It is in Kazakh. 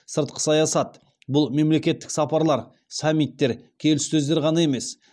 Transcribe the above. сыртқы саясат бұл мемлекеттік сапарлар саммиттер келіссөздер ғана емес